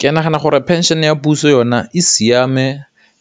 Ke nagana gore phenšhene ya puso yone e siame